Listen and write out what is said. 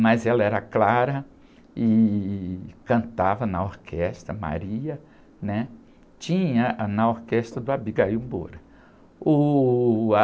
mas ela era clara e cantava na orquestra, a, né? Tinha... Ah, na orquestra do Abigail Moura. Uh, a...